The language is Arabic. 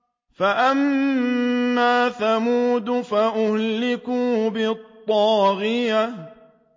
فَأَمَّا ثَمُودُ فَأُهْلِكُوا بِالطَّاغِيَةِ